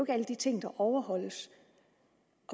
alle de ting der overholdes